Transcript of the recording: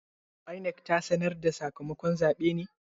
INEC ta sanar da sakamakon zabe ne?